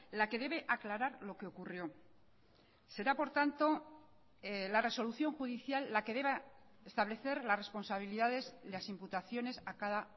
la que debe aclarar lo que ocurrió será por tanto la resolución judicial la que deba establecer las responsabilidades las imputaciones a cada